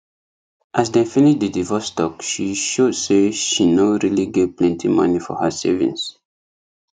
as dem finish the divorce talk she show say she no really get plenty money for her savings